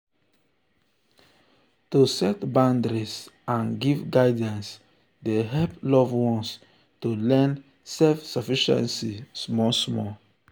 to set boundaries and give guidance dey hep loved ones to learn self-sufficiency small small.